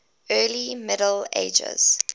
early middle ages